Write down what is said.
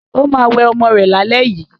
ọ má wẹ omó rè là lè yí.